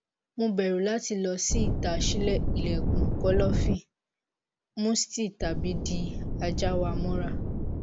mo bẹru lati lọ si ita ṣii ilẹkun kọlọfin musty tabi di aja wa mọra